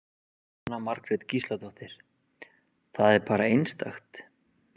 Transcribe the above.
Jóhanna Margrét Gísladóttir: Það er bara einstakt?